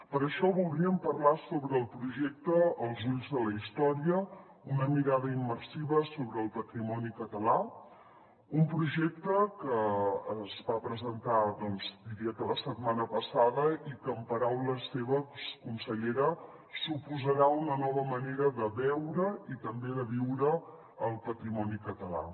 per això voldríem parlar sobre el projecte els ulls de la història una mirada immersiva sobre el patrimoni català un projecte que es va presentar doncs diria que la setmana passada i que en paraules seves consellera suposarà una nova manera de veure i també de viure el patrimoni català